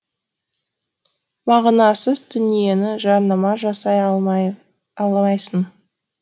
мағынасыз дүниені жарнама жасай алмайсың